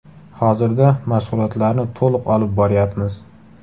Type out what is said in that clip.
Hozirda mashg‘ulotlarni to‘liq olib boryapmiz.